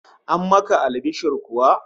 An maka albishir kuwa?